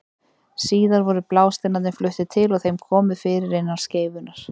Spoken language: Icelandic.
Síðar voru blásteinarnir fluttir til og þeim komið fyrir innan skeifunnar.